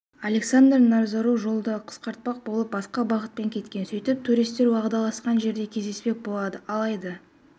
александр назарук жолды қысқартпақ болып басқа бағытпен кеткен сөйтіп туристер уағдаласқан жерде кездеспек болады алайда